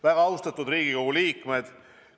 Väga austatud Riigikogu liikmed!